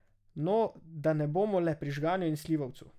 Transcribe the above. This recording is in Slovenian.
No, da ne bomo le pri žganju in slivovcu.